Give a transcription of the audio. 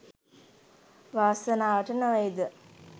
වාසනාවට නොවේද